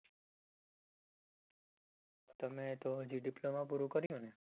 તમે તો હજુ diploma પૂરું કર્યુંને